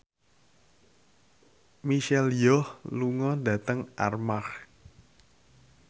Michelle Yeoh lunga dhateng Armargh